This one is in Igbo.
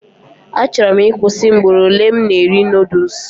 Achọrọ m ịkwụsị mgboro ole m na eri noodules